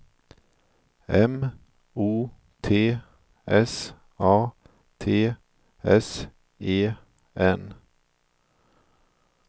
M O T S A T S E N